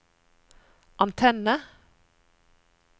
antenne